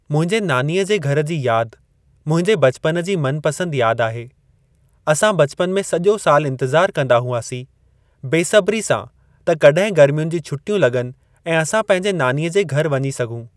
मुंहिंजे नानीअ जे घर जी यादि, मुंहिंजे ब॒चपन जी मनपसंदि यादि आहे। असां ब॒चपन में सॼो सालु इंतिज़ारु कंदा हुआसीं बेसब्री सां त कॾहिं गरमियुनि जी छुट्टियूं लग॒नि ऐं असां पंहिंजे नानीअ जे घरि वञी सघूं।